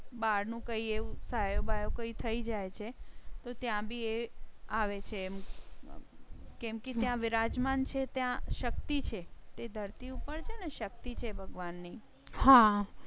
બહાર નું કઈ એવું થાય. બાયો કોઈ થઇ જાય છે તો ત્યાં બી એ આવે છે કેમ કે ત્યાં બિરાજમાન છે ત્યાં શક્તિ છે જે ધરતી ઉપર છે અને શક્તિ છે ભગવાન ની. હા